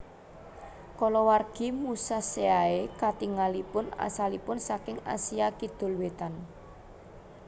Kulawargi musaceae katingalipun asalipun saking Asia Kidul Wetan